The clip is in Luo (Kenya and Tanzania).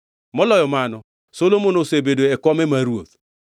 Moloyo mano, Solomon osebedo e kome mar ruoth.